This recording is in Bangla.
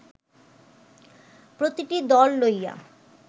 প্রতিটি দল লইয়া